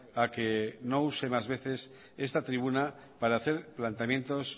a que no use más veces esta tribuna para hacer planteamientos